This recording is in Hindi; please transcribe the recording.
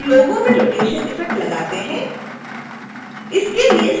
फिर logo में रोटेशन इफ़ेक्ट लगाते हैं